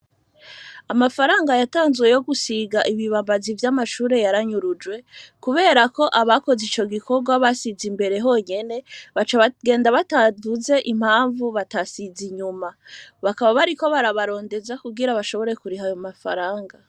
Amafaranga yatanzwe yo gusiga ibibabazi vy'amashure yaranyurujwe, kubera ko abakoze ico gikorwa basize imbere honyene baca bagenda batavuze impamvu batasiza inyuma, bakaba bari ko barabarondeza kugira bashobore kuriha ayemafaranga.